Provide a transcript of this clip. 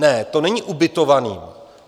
Ne, to není ubytovaný.